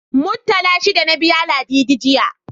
Muttala shida na biya Ladidi, jiya.